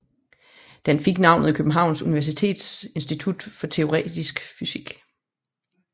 Den fik navnet Københavns Universitets Institut for Teoretisk Fysik